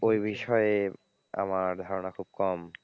ঐ বিষয়ে আমার ধারণা খুব কম।